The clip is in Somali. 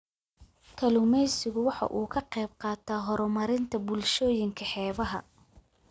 Kalluumaysigu waxa uu ka qayb qaataa horumarinta bulshooyinka xeebaha.